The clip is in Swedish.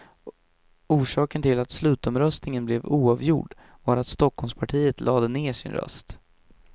Orsaken till att slutomröstningen blev oavgjord var att stockholmspartiet lade ned sin röst.